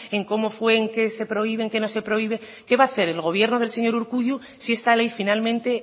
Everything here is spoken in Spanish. en cómo fue en qué se prohíben en qué no se prohíbe qué va a hacer el gobierno del señor urkullu si esta ley finalmente